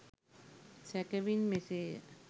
සැකෙවින් මෙසේය